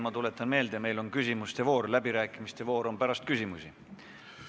Ma tuletan meelde, meil on küsimuste voor, läbirääkimiste voor on pärast küsimusi.